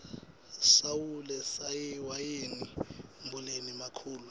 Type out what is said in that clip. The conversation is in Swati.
sawule wayengu mbulali makhulwa